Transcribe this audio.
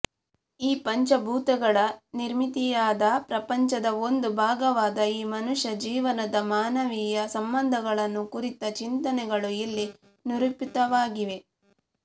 ಈ ಪಂಚಭೂತಗಳ ನಿರ್ಮಿತಿಯಾದ ಪ್ರಪಂಚದ ಒಂದು ಭಾಗವಾದ ಈ ಮನುಷ್ಯ ಜೀವನದ ಮಾನವೀಯ ಸಂಬಂಧಗಳನ್ನು ಕುರಿತ ಚಿಂತನೆಗಳು ಇಲ್ಲಿ ನಿರೂಪಿತವಾಗಿವೆ